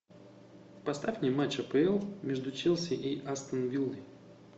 поставь мне матч апл между челси и астон виллой